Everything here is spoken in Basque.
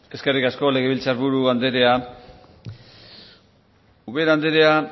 eskerrik asko legebiltzar buru andrea ubera andrea